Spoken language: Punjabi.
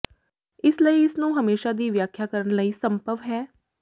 ਇਸ ਲਈ ਇਸ ਨੂੰ ਹਮੇਸ਼ਾ ਦੀ ਵਿਆਖਿਆ ਕਰਨ ਲਈ ਸੰਭਵ ਹੈ